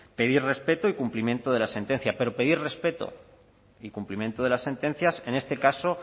pedir respeto y cumplimiento de la sentencia pero pedir respeto y cumplimiento de las sentencias en este caso